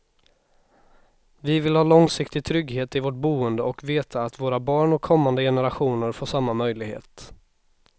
Vi vill ha långsiktig trygghet i vårt boende och veta att våra barn och kommande generationer får samma möjlighet.